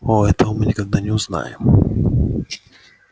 о этого мы никогда не узнаем